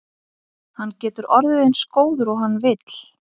Hann getur orðið eins góður og hann vill.